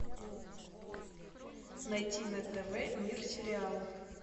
найти на тв мир сериалов